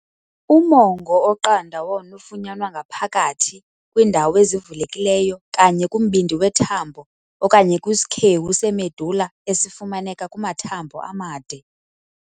Umongo oqanda wona ufunyanwa ngaphakathi kwindawo ezivulekilyo kanye kumbindi wethambo, okanye kwisikhewu se-medullar esifumaneka kumathambo amade.